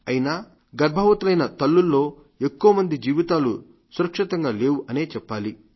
అయినా కానీ గర్భవంతులైన తల్లులలో ఎక్కుమంది జీవితాలు సురక్షితంగా లేవు అనే చెప్పాలి